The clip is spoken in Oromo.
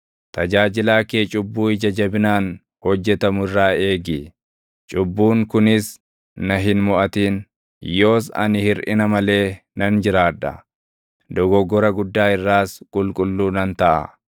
Tajaajilaa kee cubbuu ija jabinaan hojjetamu irraa eegi; cubbuun kunis na hin moʼatin. Yoos ani hirʼina malee nan jiraadha; dogoggora guddaa irraas qulqulluu nan taʼa.